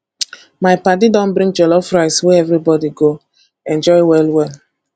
my paddy don bring jollof rice wey everybody go enjoy well well